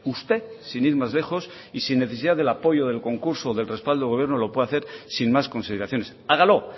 usted sin ir más lejos y sin necesidad del apoyo del concurso del respaldo del gobierno lo puede hacer sin más consideraciones hágalo